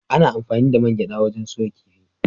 Ana anfani da man gyaɗa wajen soya kifi.